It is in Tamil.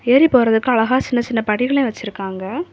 ஏரி போறதுக்கு அழகா சின்ன சின்ன படிகள வச்சிருக்காங்க.